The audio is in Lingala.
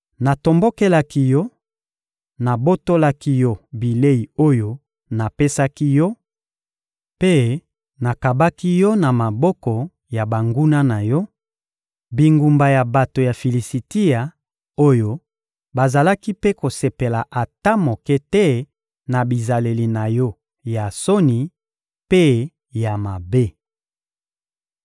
Natombokelaki yo, nabotolaki yo bilei oyo napesaki yo mpe nakabaki yo na maboko ya banguna na yo, bingumba ya bato ya Filisitia, oyo bazalaki mpe kosepela ata moke te na bizaleli na yo ya soni mpe ya mabe.